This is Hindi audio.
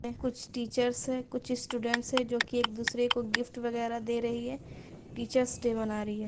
सामने कुछ टीचर्स हैं कुछ स्टूडेंट्स हैं जोकि एक दूसरे को गिफ्ट वगेरह दे रही है टीचर्स डे मना रही है।